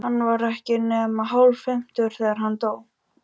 Hann var ekki nema hálffimmtugur, þegar hann dó.